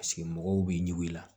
Paseke mɔgɔw b'i ɲugula